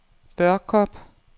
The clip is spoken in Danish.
Børkop